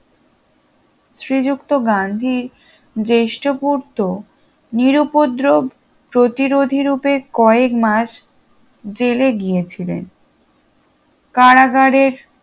শ্রীযুক্ত গান্ধী জ্যেষ্ঠ পুত্র নিরুপদ্রব প্রতিরোধী রুপে কয়েক মাস জেলে গিয়েছিলেন কারাগারের